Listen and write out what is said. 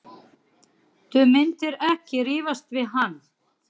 Þú myndir ekki rífast við hann.